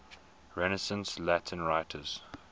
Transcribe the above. renaissance latin writers